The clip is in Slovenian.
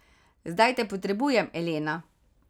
Zdaj te potrebujem, Elena.